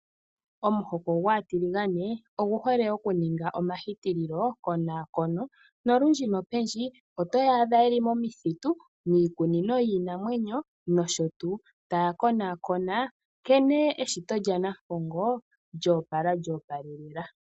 Omutoko gwaa tiligane ogu hole okuninga omahitililo konaakono. Nolundji nopendji oto yaadha yeli momithitu miikunino yiinamwenyo nosho tuu taya konaakona nkene eshito lya nampongo lyoopala lyoopalelela.